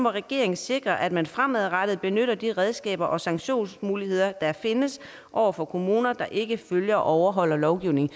regeringen sikre at man fremadrettet benytter de redskaber og sanktionsmuligheder der findes over for kommuner der ikke følger og overholder lovgivningen